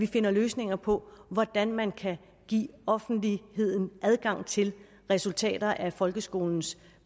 finder løsninger på hvordan man kan give offentligheden adgang til resultaterne af folkeskolens